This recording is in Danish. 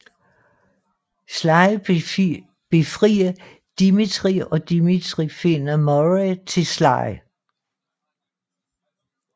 Sly befrier Dimitri og Dimitri finder Murray til Sly